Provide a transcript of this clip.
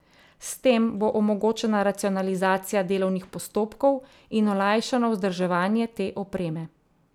S tem bo omogočena racionalizacija delovnih postopkov in olajšano vzdrževanje te opreme.